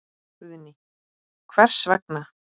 Guðný: Hvers vegna?